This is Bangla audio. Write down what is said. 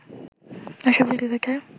আশরাফুল ক্রিকেটার